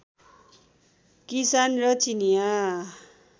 किसान र चिनियाँ